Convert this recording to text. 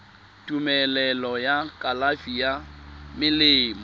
tumelelo ya kalafi ya melemo